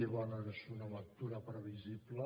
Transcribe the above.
i bé és una lectura previsible